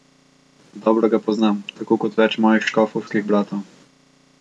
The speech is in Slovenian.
Dobro ga poznam, tako kot več mojih škofovskih bratov.